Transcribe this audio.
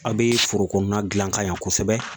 A' bɛ foro kɔnɔna dilan ka ɲa kosɛbɛ